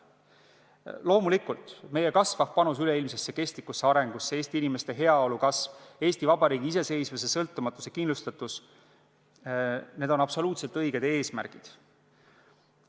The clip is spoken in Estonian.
Loomulikult, meie kasvav panus üleilmsesse kestlikku arengusse, Eesti inimeste heaolu kasv, Eesti Vabariigi iseseisvuse sõltumatuse kindlustatus – need on absoluutselt õiged eesmärgid.